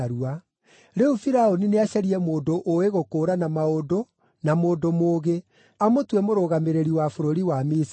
“Rĩu Firaũni nĩacarie mũndũ ũũĩ gũkũũrana maũndũ na mũndũ mũũgĩ, amũtue mũrũgamĩrĩri wa bũrũri wa Misiri.